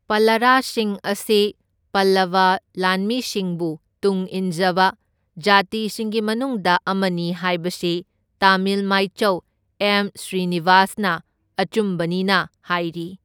ꯄꯥꯂꯔꯁꯤꯡ ꯑꯁꯤ ꯄꯜꯂꯕ ꯂꯥꯟꯃꯤꯁꯤꯡꯕꯨ ꯇꯨꯡꯏꯟꯖꯕ ꯖꯥꯇꯤꯁꯤꯡꯒꯤ ꯃꯅꯨꯡꯗ ꯑꯃꯅꯤ ꯍꯥꯏꯕꯁꯤ ꯇꯥꯃꯤꯜ ꯃꯥꯏꯆꯧ ꯑꯦꯝ꯬ ꯁ꯭ꯔꯤꯅꯤꯕꯥꯁꯅ ꯑꯆꯨꯝꯕꯅꯤꯅ ꯍꯥꯏꯔꯤ꯫